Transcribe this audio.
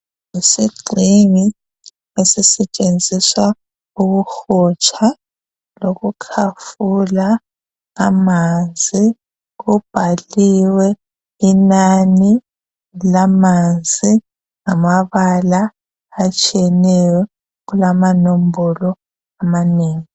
yisigxingi esisetshenziswa ukuhotsha lokukhafula amanzi kubhaliwe inani lamanzi ngamabala atshiyeneyo kulamanombolo amanengi